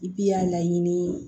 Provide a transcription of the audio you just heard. I bi y'a laɲini